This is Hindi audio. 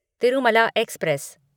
तिरुमला एक्सप्रेस